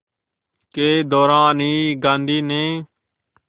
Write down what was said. के दौरान ही गांधी ने